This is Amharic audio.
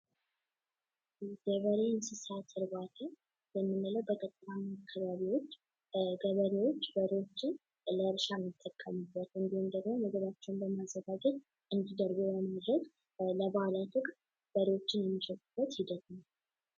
የበሬ እርባታ የምንለው በገጠራማ አካባቢዎች ገበሬዎች በሬዎችን ለእርሻ የሚጠቀሙበት እንዲሁም ደግሞ ማደበሪዎችን በማዘጋጀት እንዲደልቡ በማድረግ በበዓላት ወቅት የሚሸጡበት ሂደት ነው።